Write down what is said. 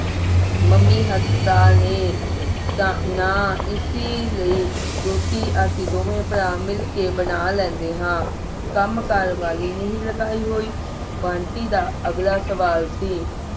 mummy ਹਸਪਤਾਲ ਨੇ ਤੇ ਨਾਂ ਇਸੀ ਲਈ ਰੋਟੀ ਅਸੀਂ ਦੋਨੋਂ ਭਰਾ ਮਿਲ ਕੇ ਬਣਾ ਲੈਂਦੇ ਹਾਂ ਕੰਮਕਾਰ ਵਾਲੀ ਨਹੀਂ ਲਗਾਈ ਹੋਈ ਬੰਟੀ ਦਾ ਅਗਲਾ ਸਵਾਲ ਸੀ